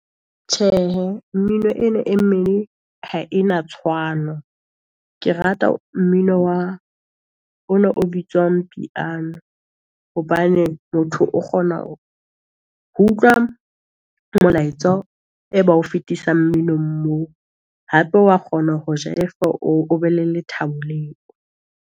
Tjhehe, mmino ena e mmeng ha ena tshwano. Ke rata mmino wa o na o bitswang piano hobane motho o kgona ho utlwa molaetsa, e ba o fetisa mminong moo. Hape wa kgona ho jaifa o be le lethabo leo.